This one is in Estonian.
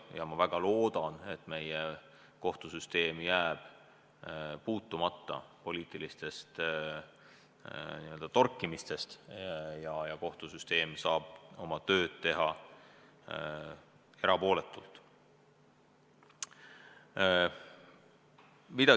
Ja ma väga loodan, et meie kohtusüsteem jääb puutumata poliitilistest torkimistest ja kohtusüsteem saab oma tööd teha erapooletult.